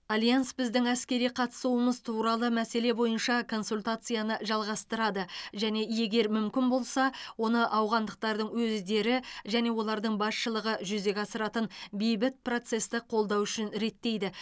альянс біздің әскери қатысуымыз туралы мәселе бойынша консультацияны жалғастырады және егер мүмкін болса оны ауғандықтардың өздері және олардың басшылығы жүзеге асыратын бейбіт процесті қолдау үшін реттейді